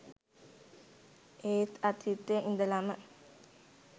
ඒත් අතීතයේ ඉඳලම